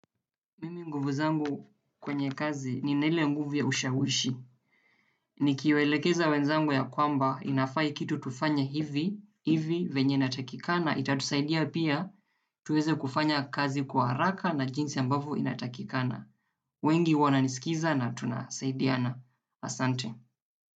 Mimi nguvu zangu kwenye kazi nina ile nguvu ya ushawishi. Nikiwaelekeza wenzangu ya kwamba inafaa hii kitu tufanye hivi hivi venye inatakikana itatusaidia pia tuweze kufanya kazi kwa haraka na jinsi ambavyo inatakikana. Wengi wananiskiza na tunasaidiana. Asante.